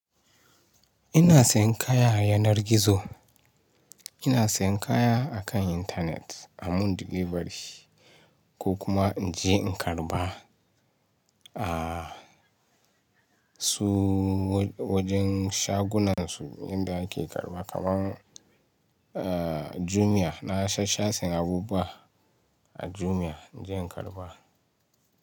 Ina sayan kaya a yanar gizo. Ina sayan kaya akan internet, a mun delivery ko kuma in je in karɓa. Aaa su wajen shagunan su inda ake karɓa kaman a Jumia na sha-sha siyan abubuwa a Jumia inje in karɓa.